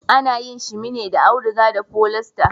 Ana yin shimi ne da auduga da folista.